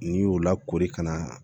N'i y'o lakori ka na